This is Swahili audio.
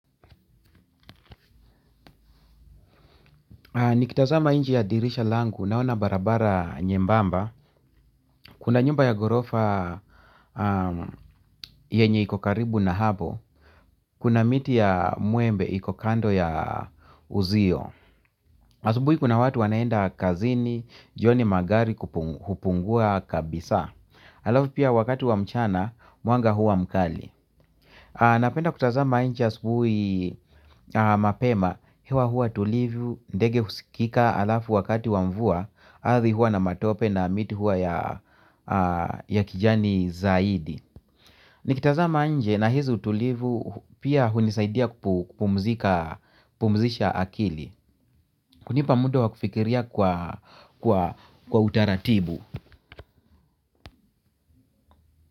Nikitazama nje ya dirisha langu naona barabara nyembamba. Kuna nyumba ya ghorofa yenye iko karibu na hapo. Kuna miti ya mwembe iko kando ya uzio. Asubuhi kuna watu wanaenda kazini, joni magari hupungua kabisa. Halafu pia wakati wa mchana, mwanga huwa mkali. Napenda kutazama nje asubuhi mapema. Hewa hua tulivu, ndege husikika halafu wakati wa mvua arthi hua na matope na miti huwa ya kijani zaidi. Nikitazama nje nahisi utulivu pia hunisaidia kupumzisha akili. Hunipa muda wakufikiria kwa utaratibu.